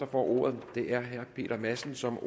får ordet er herre peter madsen som